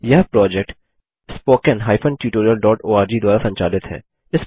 यह project httpspoken tutorialorg द्वारा संचालित है